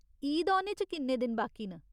ईद औने च किन्ने दिन बाकी न ?